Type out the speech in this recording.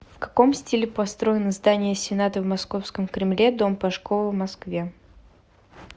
в каком стиле построены здания сената в московском кремле дом пашкова в москве